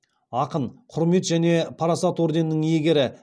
ақын құрмет және парасат ордендерінің иегері